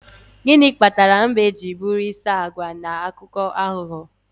gịnị kpatara mbe ji bụrụ isi agwa na akụkọ aghụghọ